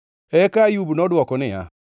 Eka Ayub nodwoko niya,